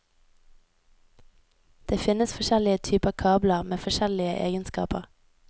Det finnes forskjellige typer kabler, med forskjellige egenskaper.